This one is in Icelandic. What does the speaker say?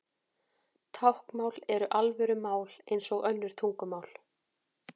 Táknmál er alvöru mál eins og önnur tungumál.